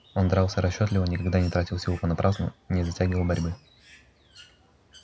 он дрался расчётливо никогда не тратил сил понапрасну не затягивал борьбы